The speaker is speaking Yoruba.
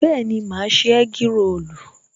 Bẹẹni, ma ṣe egg rolu